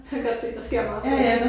Jeg kan godt se der sker meget på det